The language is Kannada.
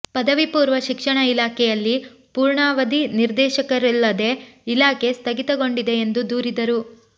ಪದವಿಪೂರ್ವ ಶಿಕ್ಷಣ ಇಲಾಖೆಯಲ್ಲಿ ಪೂರ್ಣವಧಿ ನಿರ್ದೇಶಕರಿಲ್ಲದೆ ಇಲಾಖೆ ಸ್ಥಗಿತಗೊಂಡಿದೆ ಎಂದು ದೂರಿದರು